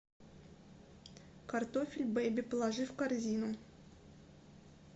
картофель беби положи в корзину